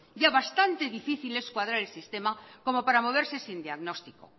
ya bastante difícil es cuadrar el sistema como para moverse sin diagnóstico